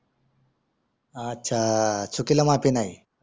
अच्छा चुकीला माफी नाही